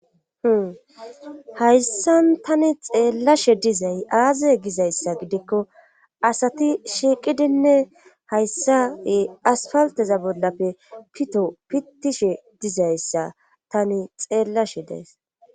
Hihayssan tani xeellashe dizay aazae gizayssa gidikko asati shiiqidinne hayssae aspalteza bollape pito pittishe dizayssa tani xeellashe dees.